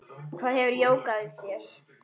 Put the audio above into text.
Hvað gefur jógað þér?